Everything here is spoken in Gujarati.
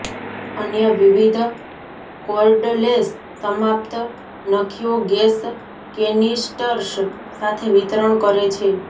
અન્ય વિવિધ કોર્ડલેસ સમાપ્ત નખીઓ ગેસ કેનિસ્ટર્સ સાથે વિતરણ કરે છે